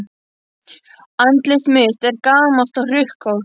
Andlit mitt er gamalt og hrukkótt.